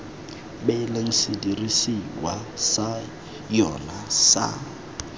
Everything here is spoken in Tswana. beileng sedirisiwa sa yona sa